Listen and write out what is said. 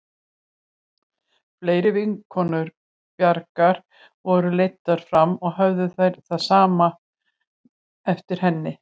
Fleiri vinkonur Bjargar voru leiddar fram og höfðu allar það sama eftir henni.